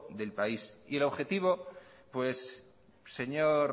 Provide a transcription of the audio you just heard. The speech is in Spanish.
del país y el objetivo pues señor